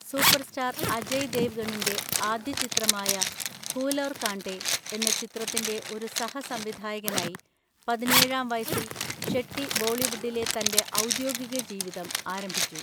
Superstar Ajay ദേവ്ഗണിന്‍റെ ആദ്യചിത്രമായ ഫൂൽ ഔർ കാൺടേ എന്ന ചിത്രത്തിൻ്റെ ഒരു സഹസംവിധായകനായി, പതിനേഴാം വയസ്സിൽ ഷെട്ടി ബോളിവുഡിലെ തന്‍റെ ഔദ്യോഗിക ജീവിതം ആരംഭിച്ചു.